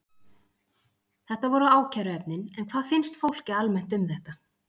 Þetta voru ákæruefnin, en hvað finnst fólki almennt um þetta?